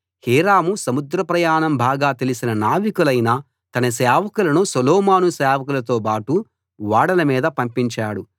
Hiram సముద్ర ప్రయాణం బాగా తెలిసిన నావికులైన తన సేవకులను సొలొమోను సేవకులతోబాటు ఓడల మీద పంపించాడు